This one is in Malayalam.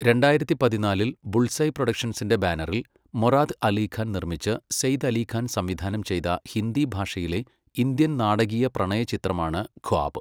രണ്ടായിരത്തി പതിനാലിൽ ബുൾസ്ഐ പ്രൊഡക്ഷൻസിൻ്റെ ബാനറിൽ മൊറാദ് അലി ഖാൻ നിർമ്മിച്ച് സെയ്ദ് അലി ഖാൻ സംവിധാനം ചെയ്ത ഹിന്ദി ഭാഷയിലെ ഇന്ത്യൻ നാടകീയപ്രണയചിത്രമാണ് ഖ്വാബ്.